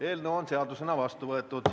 Eelnõu on seadusena vastu võetud.